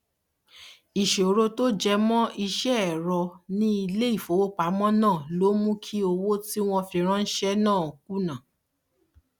ìṣòro tó jẹ mọ iṣẹ ẹrọ ní ilé ìfowópamọ náà ló mú kí owó tí wọn fi ránṣẹ náà kùnà